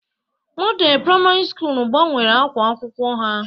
Modelu Praimari Sukulu gbanwere ákwá akwụkwọ ha.